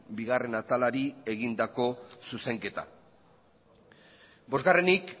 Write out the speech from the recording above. bigarrena atalari egindako zuzenketa bosgarrenik